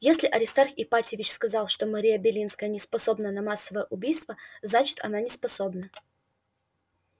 если аристарх ипатьевич сказал что мария белинская не способна на массовое убийство значит она неспособна